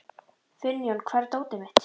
Finnjón, hvar er dótið mitt?